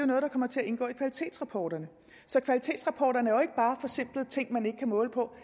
noget der kommer til at indgå i kvalitetsrapporterne så kvalitetsrapporterne er jo ikke bare forsimplede ting man ikke kan måle på